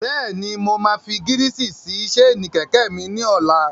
Bẹ́ẹ̀ni, mo máa fi gírísì sí séènì kẹ̀kẹ́ mi ní ọlá.